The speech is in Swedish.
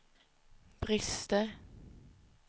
brister